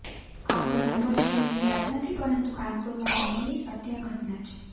આ કોઈ હંબગ ફિલ્મની વાર્તા નથી પરંતુ કાનપુરમાં બનેલી સત્યઘટના છે